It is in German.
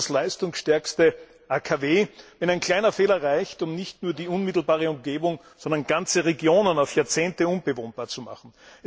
Was nutzt das leistungsstärkste AKW, wenn ein kleiner Fehler reicht, um nicht nur die unmittelbare Umgebung, sondern ganze Regionen auf Jahrzehnte unbewohnbar zu machen?